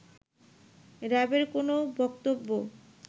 র‍্যাবের কোন বক্তব্য